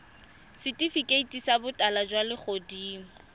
setifikeiti sa botala jwa legodimo